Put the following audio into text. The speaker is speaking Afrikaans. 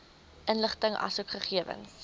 inligting asook gegewens